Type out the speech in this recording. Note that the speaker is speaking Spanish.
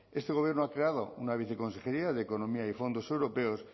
este gobierno ha creado una viceconsejería de economía y fondos europeos